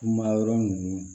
Kuma yɔrɔ ninnu